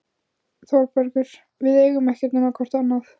ÞÓRBERGUR: Við eigum ekkert nema hvort annað.